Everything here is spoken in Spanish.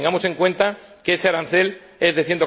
tengamos en cuenta que ese arancel es de